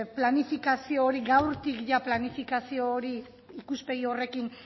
planifikazio hori gaurtik ia planifikazio hori ikuspegi horrekin